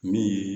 Min ye